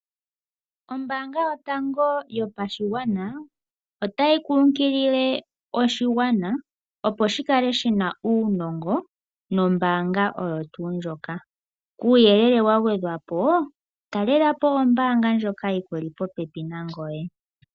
Ombaanga yotango yopashigwana otayi kunkilile oshigwana opo shikale shina uunongo nombaanga oyotuu ndjoka uuyelele wa gwedhwapo talelapo ombaanga ndjoka yili popepi nangoye